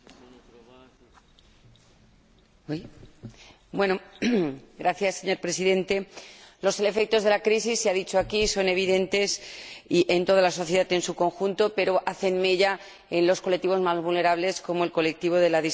Señor Presidente, los efectos de la crisis —se ha dicho aquí— son evidentes en toda la sociedad en su conjunto, pero hacen mella en los colectivos más vulnerables, como el colectivo de las personas con discapacidad, de tal manera que,